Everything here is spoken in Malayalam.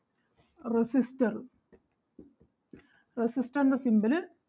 resistor resistor ൻ്റെ symbol അഹ്